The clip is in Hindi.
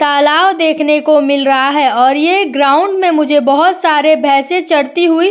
तालाब देखने को मिल रहा है और यह ग्राउंड में मुझे बहुत सारे भैंसे चरती हुई --